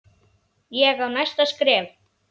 Ég á næsta skref.